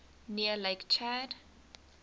near lake chad